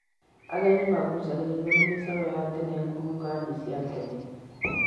Ageni magucaagĩrĩrio nĩ mĩcoro ya tene ngurunga-inĩ cia tene.